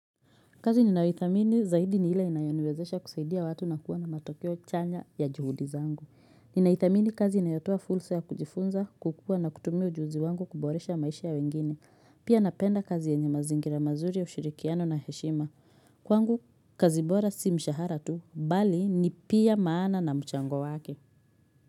Kazi ninayoithamini zaidi ni ile inayoniwezesha kusaidia watu na kuwa na matokeo chanya ya juhudi zangu. Ninaithamini kazi inayotoa fulsa ya kujifunza, kukua na kutumia ujuzi wangu kuboresha maisha ya wengine. Pia napenda kazi yenye mazingira mazuri ya ushirikiano na heshima. Kwangu, kazi bora si mshahara tu, bali ni pia maana na mchango wake.